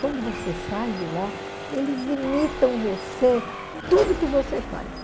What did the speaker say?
Quando você sai de lá, eles imitam você, tudo que você faz.